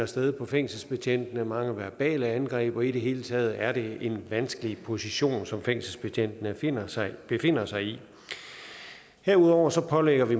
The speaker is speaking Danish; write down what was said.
sted på fængselsbetjente mange verbale angreb og i det hele taget er det en vanskelig position som fængselsbetjentene befinder sig befinder sig i herudover pålægger vi